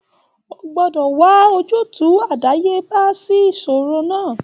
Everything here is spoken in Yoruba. O gbọ́dọ̀ wà ojútùú àdáyébá sí ìṣòro náà